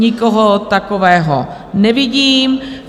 Nikoho takového nevidím.